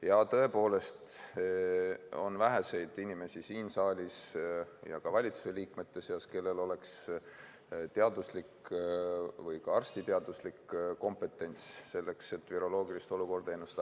Ja tõepoolest, on vähe inimesi siin saalis ja ka valitsuse liikmete seas, kellel oleks teaduslik või ka arstiteaduslik kompetentsus selleks, et viroloogilist olukorda ennustada.